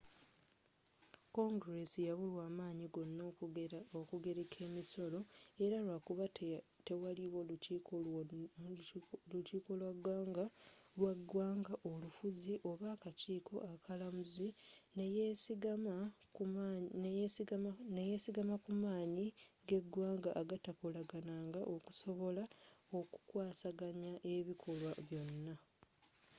congress yabulwa amanyi gona okugereka emisolo era lwakuba tewaliwo lukiiko lwa ggwanga olufuzi oba akakiiko akalamuzi neyesigama kumanyi g'eggwanga agatakolagananga okusobola okukwasaganya ebikolwa byonna